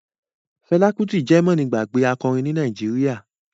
Fela Kuti je mọ́nigbàgbé akọrin ní Nàìjíríà.